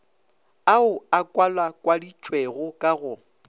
ao a kwalakwaditšwego ka go